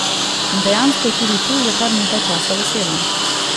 In dejansko je tudi tu že kar nekaj časa veselo.